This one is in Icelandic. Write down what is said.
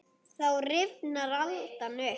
Þá rifnar aldan upp.